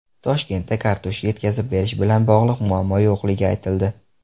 Toshkentda kartoshka yetkazib berish bilan bog‘liq muammo yo‘qligi aytildi.